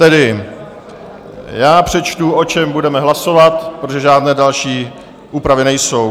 Tedy já přečtu, o čem budeme hlasovat, protože žádné další úpravy nejsou.